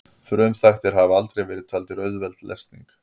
frumþættir hafa aldrei verið taldir auðveld lesning